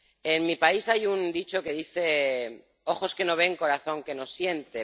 En mi país hay un dicho que dice Ojos que no ven, corazón que no siente.